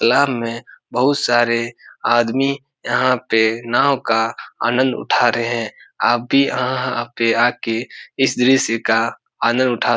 तलाव में बहोत सारे आदमी यहां पे नाव का आनंद उठा रहे हैं। आप भी यहाँ आके-आके इस दृश्य का आनंद उठा --